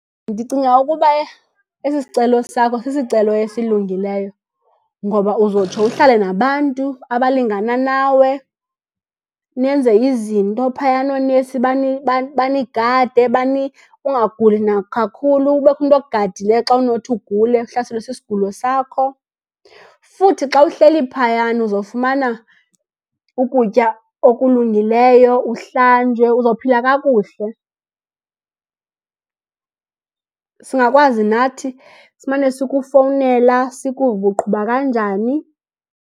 Ndicinga ukuba esi sicelo sakho sisicelo esilungileyo. Ngoba uzotsho uhlale nabantu abalingana nawe, nenze izinto phayana, oonesi banigade , ungaguli nakakhulu. Kubekho umntu okugadileyo xa unothi ugule uhlaselwe sisigulo sakho. Futhi xa uhleli phayana uzofumana ukutya okulungileyo, uhlanjwe, uzophila kakuhle. Singakwazi nathi simane sikufowunela sikuve uba uqhuba kanjani.